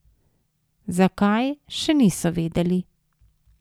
Zakaj, še niso vedeli.